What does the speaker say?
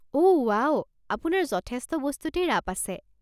অ' wow, আপোনাৰ যথেষ্ট বস্তুতেই ৰাপ আছে।